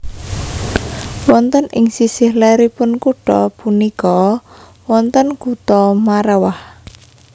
Wonten ing sisih leripun kutha punika wonten kutha Marrawah